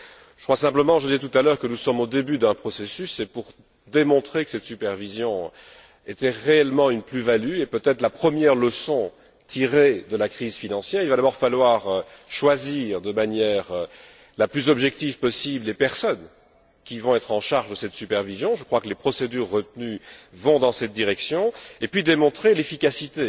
Je l'ai dit tout à l'heure, nous sommes au début d'un processus et, pour démontrer que cette supervision est réellement une plus value, et peut être la première leçon tirée de la crise financière, il va d'abord falloir choisir de la manière la plus objective possible les personnes qui vont être en charge de cette supervision je crois que les procédures retenues vont dans cette direction et puis démontrer l'efficacité